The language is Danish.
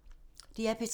DR P3